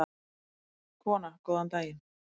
Kona: Góðan daginn.